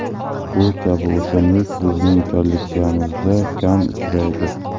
Bu kabi o‘simlik bizning kolleksiyamizda kam uchraydi.